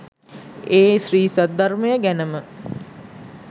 ඒ ශ්‍රී සද්ධර්මය ගැනම